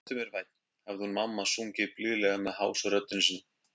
Vertu mér vænn, hafði hún mamma sungið blíðlega með hásu röddinni sinni.